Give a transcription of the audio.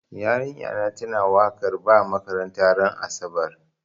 Yarinya na ta na wakar ba makaranta ran asabar